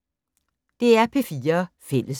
DR P4 Fælles